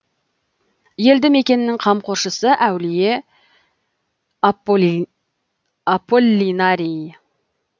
елді мекеннің қамқоршысы әулие аполлинарий